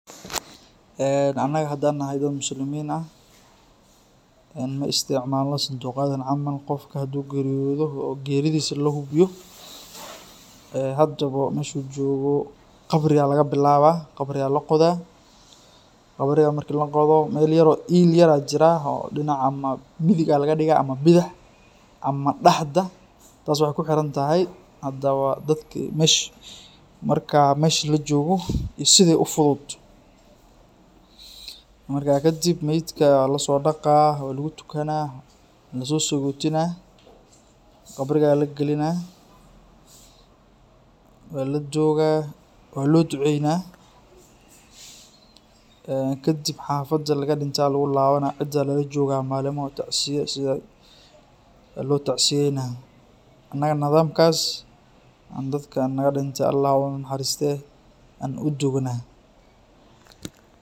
Anaga hadaan nahay dad muslimiin ah, maisticmaalno santuuq yadan camal ,qofka haduu geeriyoodo oo geeridisu la hubiyo ee hadabo meshuu joogo qabriyaa laga bilawaa qabriyaa la qodaa qabrigaa marki laqodo meel yar oo iil yar aa jiraa oo dhinaca , ama midig aa lagaa dhigaa ama bidix ama dhaxda taas waxeey kuxiran tahay hadabo dadka mesha , marka mesha lajoogo iyo sida ufudud. Markaa kadib meedka waa lasoo dhaqaa, waa lagu tukanaa, waa lasoo sagotinaa ,qabrigaa lagalinaa , waa la dugaa ,waa loo duceynaa kadib xafada laga dhinte lagu lawanaa cidaa lala jogaa maalimo tacsiya sida waa loo tacsiyeynaa .Anaga nadamkaas aan dadka naga dhintay Allah ha u naxaristee aan u duugnaa